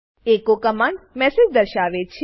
echo command message દર્શાવે છે